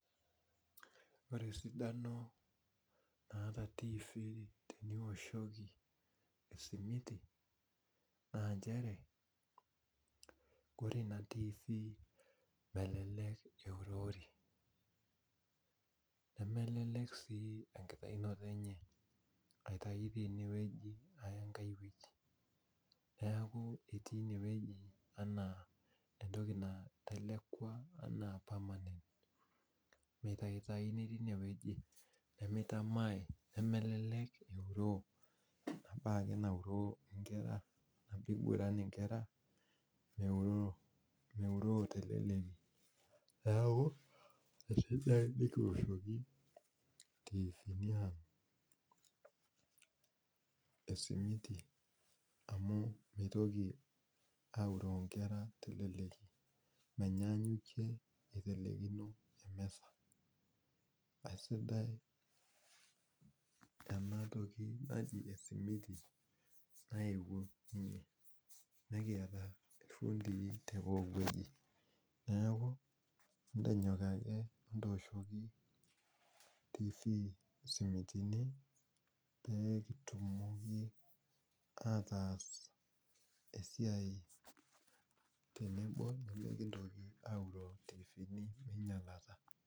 Ore esidano naata tifi teniwoshoki esimiti, naa njere kore ina tifi melelek eurori. Nemelelek si enkitaunoto enye aitayu tenewueji aya enkai wueji. Neeku etii inewueji enaa entoki natelekua anaa permanent. Mitaitayuni tinewueji, nemitamai nemelelek euroo inapake nauroo nkera apa iguran inkera, meuroo teleleki. Neeku, etejo akenye kioshoki itiifini ang esimiti, amu mitoki auroo nkera teleleki. Menyaanyukie eitelekino emisa. Aisidai enatoki naji esimiti naewuo ninye. Nikiata ifundii tepooki wueji. Neeku, etonyok ake etooshoki tifii simitini, pekitumoki ataas esiai tenebo mekintoki auroo intiifini meinyalata.